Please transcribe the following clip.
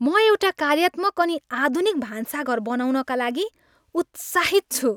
म एउटा कार्यात्मक अनि आधुनिक भान्साघर बनाउनका लागि उत्साहित छु।